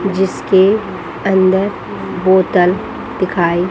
जिसके अंदर बोतल दिखाई--